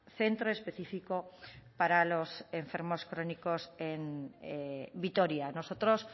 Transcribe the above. centro específico para los enfermos crónicos en vitoria nosotros